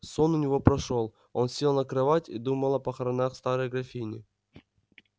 сон у него прошёл он сел на кровать и думал о похоронах старой графини